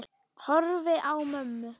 Horfi á mömmu.